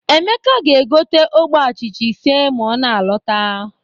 Emeka ga-gote ogbe achịcha ise ma ọ na-alọta.